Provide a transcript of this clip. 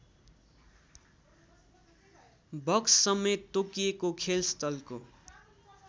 बक्ससमेत तोकिएको खेलस्थलको